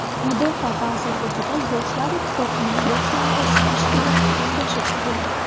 Mudofaa vazirligida Yoshlar ittifoqining boshlang‘ich tashkiloti kengashi tuzildi.